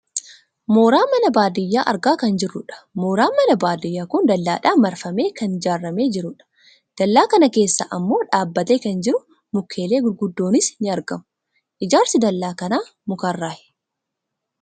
Mooraa mana baadiyyaa argaa kan jirrudha. Mooraan mana baadiyyaa kun dallaadhaan marfamee kan ijaarramee jirudha. Dallaa kan keessa ammoo dhaabbatee kan jiru mukeelee gurguddoonis ni argamu. Ijaarsi dallaa kanaa mukarraayi.